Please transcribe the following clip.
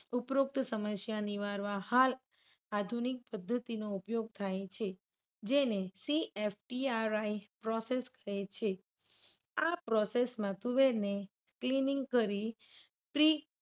ઉપરોક્ત સમસ્યા નિવારવા હાલ આધુનિક પદ્ધતિનો ઉપયોગ થાય છે. જેને CFTRI process કહે છે. આ process માં તુવેરને cleaning કરી પ્રી